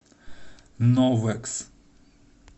новэкс